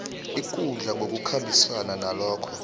ikundla ngokukhambisana nalokho